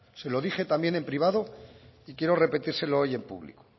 se lo dije también en privado y quiero repetírselo hoy en público